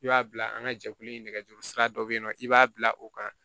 I b'a bila an ka jɛkulu in nɛgɛjuru sira dɔ bɛ yen nɔ i b'a bila o kan